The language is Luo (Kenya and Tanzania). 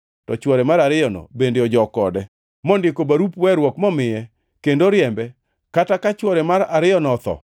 to chwore mar ariyono bende ojok kode, mondiko barup weruok momiye, kendo oriembe, kata ka chwore mar ariyono otho,